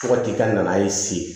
Fo ka t'i ka na ye se